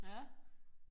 Ja